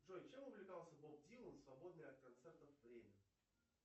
джой чем увлекался боб дилан в свободное от концертов время